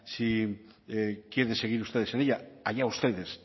si quieren seguir ustedes en ella allá ustedes